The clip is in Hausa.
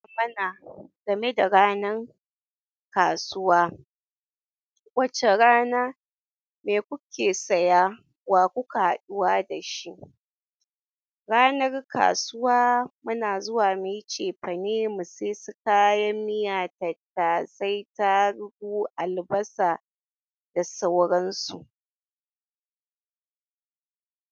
Mana game da ranan kasuwa, wace rana, me kuke saya, wa kuke haɗuwa da shi? Ranar kasuwa muna zuwa mu yi cefane mu sayi su kayan miya, tattasai, tarugu, albasa da sauransu.